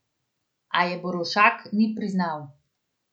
A je Borovšak ni priznal.